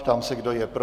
Ptám se, kdo je pro?